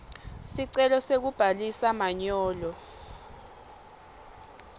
sicelo sekubhalisa manyolo